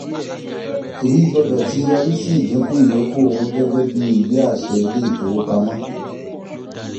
èyí gbọ́dọ̀ tí yọrí sí ìdínkù ìyókù owó gẹgẹ́ bíi ìwé àṣẹ ilé ìfowopamọ́